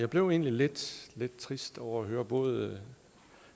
blev egentlig lidt trist over at høre både